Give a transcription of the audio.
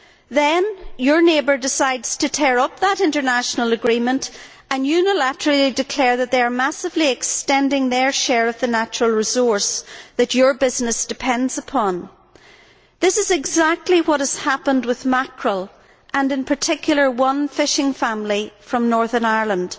Then your neighbour decides to tear up that international agreement and unilaterally declare that they are massively extending their share of the natural resource that your business depends upon. This is exactly what has happened with mackerel and, in particular, one fishing family from Northern Ireland.